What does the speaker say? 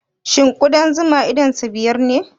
Shin ƙudan zuma idonsa biyar ne?